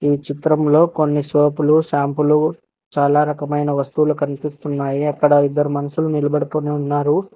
ఈ చిత్రంలో కొన్ని సోపులు షాంపులు చాలా రకమైన వస్తువులు కనిపిస్తున్నాయి అక్కడ ఇద్దరు మనుషులు నిలబడుకొని ఉన్నారు.